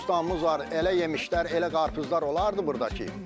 Bostanımız var, elə yemişlər, elə qarpızlar olardı burdakı.